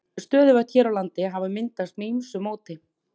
Stöðuvötn hér á landi hafa myndast með ýmsu móti.